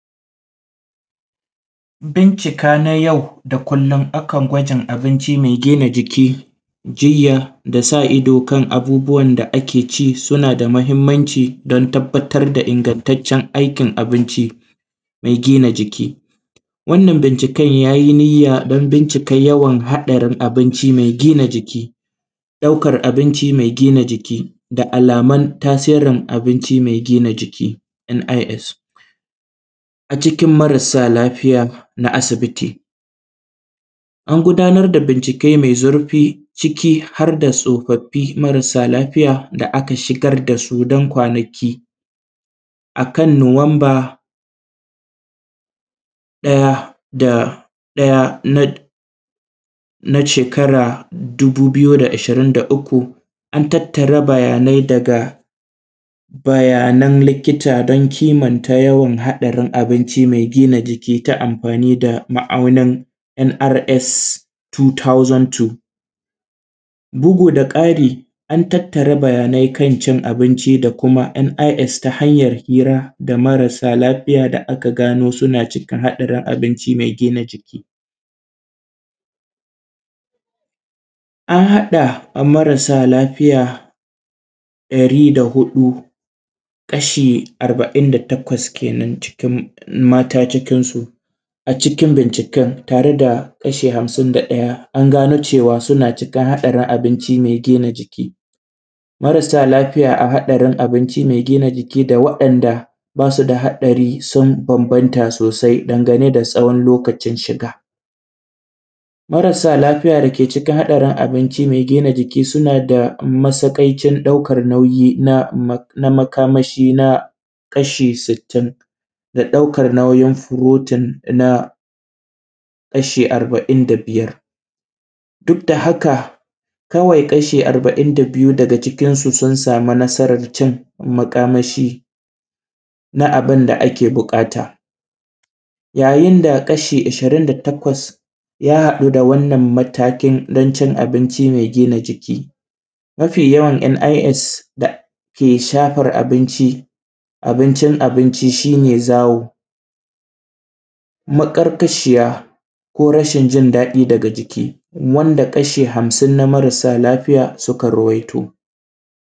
Bincika na yau da kullun akan gwajin abinci mai gina jiki jilya da sa ido kan abubuwan da ake ci suna da mahimmanci dan tabbatar da ingantaccen aiki abinci mai gina jiki, wannan binciken yayi niyya dan bincika yawan haɗarin abinci mai gina jiki, ɗaukar abinci mai gina jiki da alaman tasirin abinci mai gina jiki “NIS” a cikin marasa lafiya na asibiti, an gudanar da bincike mai zurfi ciki har da tsofaffi marasa lafiya da aka shigar da su dan ƙwanaki akan nuwamba ɗaya da ɗaya na shekara dubu biyu da ishirin da uku an tattara bayanai daga bayanan likita don kimanta yawan haɗarin abinci mai gina jiki ta amfani da ma`aunin “NRS 2002” bugu da ƙari an tattara bayyai kan cin abinci da kuma NIS ta hanyar hira da marasa lafiya da aka gono suna cikin haɗarin abinci mai jina jiki, an haɗa marasa lafiya ɗari da huɗu kashi arba`in da takwas kenan cikin mata cikin su a cikin binciken tare da kasha hamsin da ɗaya an gano cewa suna cikin haɗarin abinci mai gina jiki, marasa lafiya a haɗarin abinci mai cikin abinci mai gina jiki da waɗanda basu da haɗari sun bambanta sosai dangane da tsawon lokacin shiga marasa lafiya dake cikin hatsarin abinci mai gina jiki suna da matsaƙaicin ɗaukan nauyi na na makamashi na kasha sittin da ɗaukan nauyin protein na kashi arba`in da biyar, duk da haka kawai kashi arba`in da biyu daga cikin su sun samu nasara cin makamashi na abun da ake buƙata, yayin da kashi ishirin da takwas ya haɗu da wannan matakin dan cin abinci mai gina jiki mafi yawan NIS da ke shafar abinci abincin abinci shi ne zawo maƙarƙashiya ko rashin jin daɗi daga jiki wanda kasha hamsin na mararsa lafiya suka rawaito.